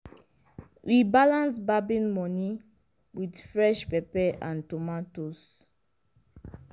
we balance barbing money with fresh peppers and tomatoes.